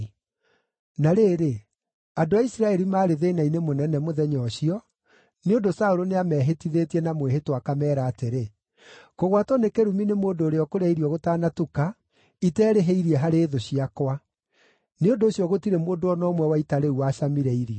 Na rĩrĩ, andũ a Isiraeli maarĩ thĩĩna-inĩ mũnene mũthenya ũcio, nĩ ũndũ Saũlũ nĩamehĩtithĩtie na mwĩhĩtwa, akameera atĩrĩ, “Kũgwatwo nĩ kĩrumi nĩ mũndũ ũrĩa ũkũrĩa irio gũtanatuka, iterĩhĩirie harĩ thũ ciakwa!” Nĩ ũndũ ũcio gũtirĩ mũndũ o na ũmwe wa ita rĩu wacamire irio.